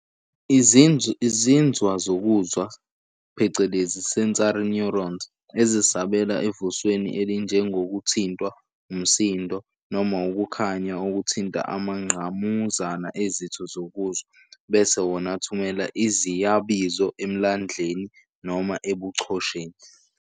Izinzwa, izinzwa zokuzwa, phecelezi, "sensory neurons", ezisabela evusweni elinjengokuthintwa, umsindo, noma ukukhanya okuthinta amangqamuzana ezitho zokuzwa, bese wona athumela iziyabizo emhlandleni noma ebuchosheni.